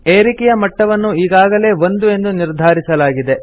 ಏರಿಕೆಯ ಮಟ್ಟವನ್ನು ಈಗಾಗಲೇ 1 ಎಂದು ನಿರ್ಧಾರಿಸಲಾಗಿದೆ